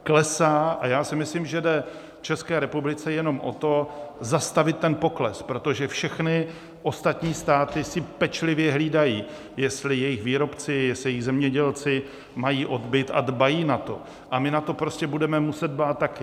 Klesá a já si myslím, že jde České republice jenom o to, zastavit ten pokles, protože všechny ostatní státy si pečlivě hlídají, jestli jejich výrobci, jestli jejich zemědělci mají odbyt, a dbají na to, a my na to prostě budeme muset dbát také.